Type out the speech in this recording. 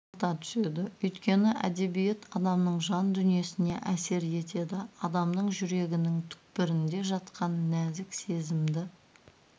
арта түседі өйткені әдебиет адамның жан дүниесіне әсер етеді адамның жүрегінің түпкірінде жатқан нәзік сезімді